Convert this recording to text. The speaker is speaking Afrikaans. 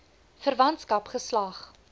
verwantskap geslag